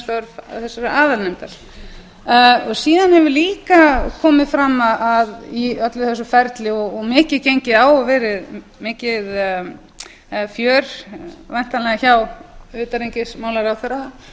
störf þessarar aðalnefndar síðan hefur líka komið fram að í öllu þessu ferli og mikið gengið á og verið mikið fjör væntanlega hjá utanríkisráðherra